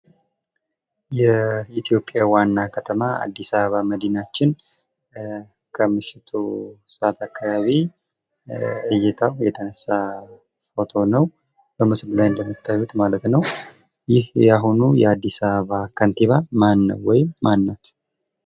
የኢትዮጲያ ዋና ከተማ አዲስ አበባ መዲናችን ከምሽቱ 3 ሰዐት አካባቢ እይታው የተነሳ ፎቶ ነው በማስሉላይ እንደምታዩት ማለት ነው:: ይህ የአሁኑ አዲስ አበባ ከንቲባ ማነው ወይም ማለት?